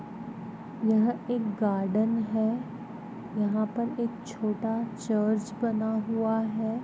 यह एक गार्डन है यहाँ पर एक छोटा चर्च बना हुआ है।